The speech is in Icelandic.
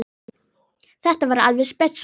Þetta var alveg spes móment.